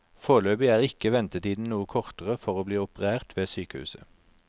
Foreløpig er ikke ventetiden noe kortere for å bli operert ved sykehuset.